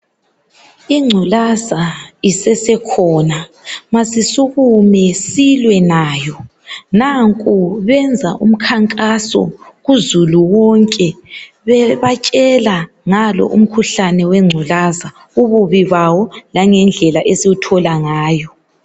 Ingculaza isesekhona sekumele silsilwe nayo benza umkhankaso kuzulu wonke bebatshela ngalo umkhuhlane wenculaza ububi bawo langendlela esiwuthola ngayo.